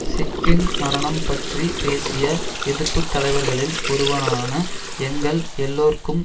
சிட்கின் மரணம் பற்றி பேசிய எதிர்ப்புத்தலைவர்களில் ஒருவரான எங்கள் எல்லோருக்கும்